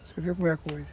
Você viu como é a coisa.